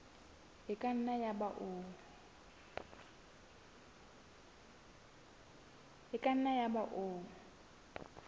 e ka nna yaba o